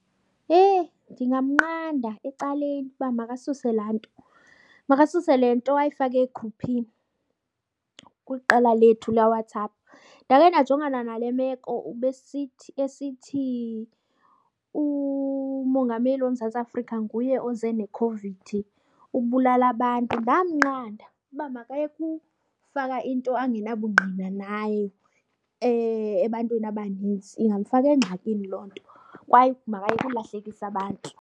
Hee, ndingamnqanda ecaleni uba makasuse laa nto, makasuse le nto ayifake egruphini kwiqela lethu leWhatsApp. Ndake ndajongana nale meko ubesithi esithi uMongameli woMzantsi Afrika nguye oze neCOVID, ubulala abantu. Ndamnqanda uba makayeke ufaka into angenabungqina nayo ebantwini abanintsi, ingamfaka engxakini loo nto kwaye makayeke ukulahlekisa abantu.